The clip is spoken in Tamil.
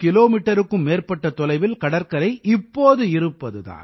மீட்டருக்கும் மேற்பட்ட தொலைவில் கடற்கரை இப்போது இருப்பது தான்